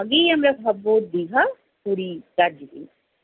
আগেই আমরা ভাববো দীঘা, পুরী, দার্জিলিং।